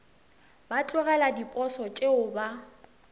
ba tlogele diposo tšeo ba